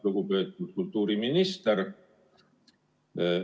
Lugupeetud kultuuriminister!